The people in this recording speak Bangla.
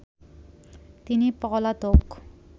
তিনি পলাতক